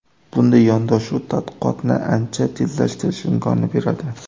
Bunday yondashuv tadqiqotni ancha tezlashtirish imkonini beradi.